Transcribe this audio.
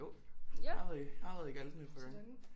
Jo jeg har været i jeg har været i Galten et par gange